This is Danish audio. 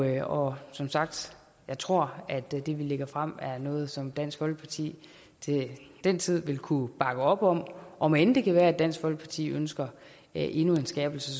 i og som sagt tror jeg at det vi lægger frem er noget som dansk folkeparti til den tid vil kunne bakke op om om end det kan være at dansk folkeparti ønsker endnu en skærpelse